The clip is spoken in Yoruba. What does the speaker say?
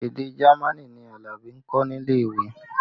Èdè Jamaní ni Alabi ń kọ́ nílé ìwé